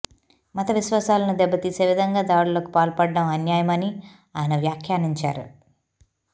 మత విశ్వాసాలను దెబ్బతీసే విధంగా దాడులకు పాల్పడడం అన్యాయమని ఆయన వ్యాఖ్యానించారు